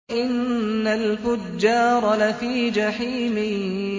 وَإِنَّ الْفُجَّارَ لَفِي جَحِيمٍ